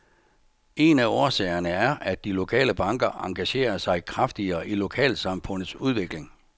En af årsagerne er, at de lokale banker engagerer sig kraftigere i lokalsamfundets udvikling.